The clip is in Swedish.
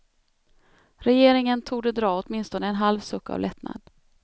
Regeringen torde dra åtminstone en halv suck av lättnad.